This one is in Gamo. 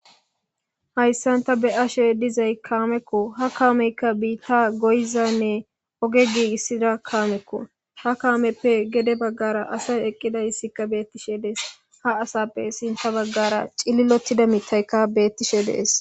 Hayssan ta be7ashe dizay kaamekko. ha kaameykka biitta goyizanne oge giigissida kaamekko. ha kaameppe gede baggara asay eqqidayssikka beettishe dees. Ha asappe sinta baggara cililottida mitayka beettishe dees.